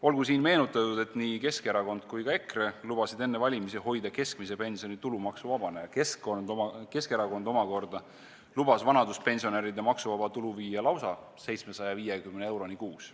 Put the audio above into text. Olgu siin meenutatud, et nii Keskerakond kui ka EKRE lubasid enne valimisi hoida keskmise pensioni tulumaksuvabana ja Keskerakond omakorda lubas vanaduspensionäride maksuvaba tulu tõsta lausa 750 eurole kuus.